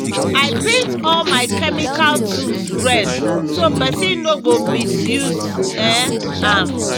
i paint all my chemical tools red so person no go misuse um am.